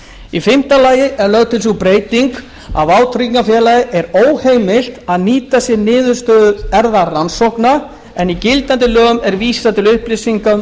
í fimmta lagi er lögð til sú breyting að vátryggingafélagi er óheimilt að nýta sér niðurstöður erfðarannsókna en í gildandi lögum er vísað til upplýsinga um